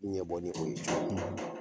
Ɲɛbɔ ni o ye